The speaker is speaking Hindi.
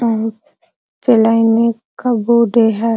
के लाइन में कब्बो दे है।